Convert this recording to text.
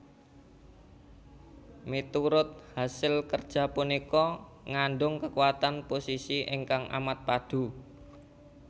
Miturut hasil kerja punika ngandung kekuatan posisi ingkang amat padu